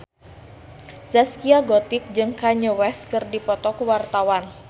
Zaskia Gotik jeung Kanye West keur dipoto ku wartawan